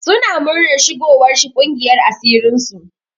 Suna muranar shigowar shi ƙungiyar asirin su.